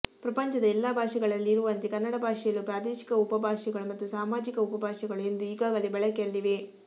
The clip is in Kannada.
ಪ್ರಪಂಚದ ಎಲ್ಲಾ ಭಾಷೆಗಳಲ್ಲಿರುವಂತೆ ಕನ್ನಡ ಭಾಷೆಯಲ್ಲೂ ಪ್ರಾದೇಶಿಕ ಉಪಭಾಷೆಗಳು ಮತ್ತು ಸಾಮಾಜಿಕ ಉಪಭಾಷೆಗಳೂ ಎಂದು ಈಗಾಗಲೇ ಬಳಕೆಯಲ್ಲಿವೆ